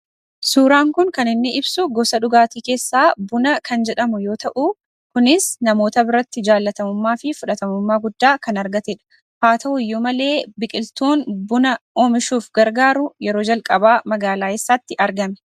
Suuraan kun kan inni ibsu gosa dhugaatii keessaa buna kan jedhamu yoo ta'uu kunis namoota biratti jaallatamummaa fi fudhatamummaa guddaa kan argatedha. Haa ta'uyyuu malee biqiltuun buna oomishuuf gargaaru yeroo jalqabaa magaalaa eessaatti argame?